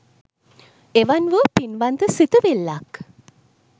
එවන් වූ පින්වන්ත සිතුවිල්ලක්